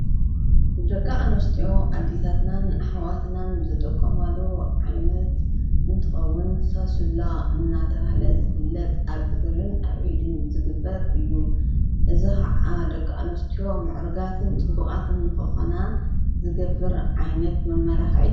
ደቂ ኣንስትዮ ኣዴታትናን ኣሕዋትናን ዝጥቀማሉ ዓይነት እንትኸውን ሳሱላ እናተብህለ ዝፍለጥ ኣብ እግረንን ኣብ ኢደንን ዝግበር እዩ፡፡ እዚ ኸዓ ደቂ ኣንስትዮ ምዕሩጋትን ፅቡቓትን ክኾና ዝገብር ዓይነት መመላኽዒ እዩ፡፡